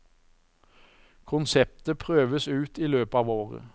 Konseptet prøves ut i løpet av året.